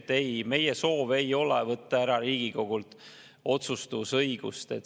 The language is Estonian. Ei, meie soov ei ole võtta Riigikogult ära otsustusõigust.